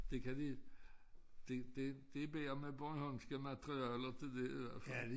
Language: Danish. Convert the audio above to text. Det kan de det det det bedre med bornholmske materialer det det i hvert fald